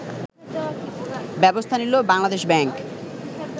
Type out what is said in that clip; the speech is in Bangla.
ব্যবস্থা নিল বাংলাদেশ ব্যাংক